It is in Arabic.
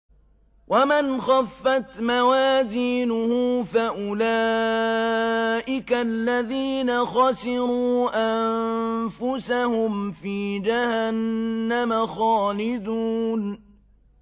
وَمَنْ خَفَّتْ مَوَازِينُهُ فَأُولَٰئِكَ الَّذِينَ خَسِرُوا أَنفُسَهُمْ فِي جَهَنَّمَ خَالِدُونَ